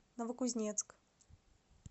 новокузнецк